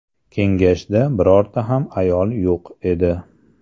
Kengashda birorta ham ayol yo‘q edi.